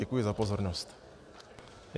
Děkuji za pozornost.